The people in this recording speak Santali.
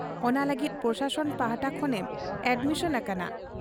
ᱚᱱᱟ ᱞᱟᱹᱜᱤᱫ ᱯᱨᱚᱥᱟᱥᱚᱱ ᱯᱟᱦᱴᱟ ᱠᱷᱚᱱᱮᱢ ᱟᱰᱢᱤᱥᱚᱱ ᱟᱠᱟᱱᱟ ᱾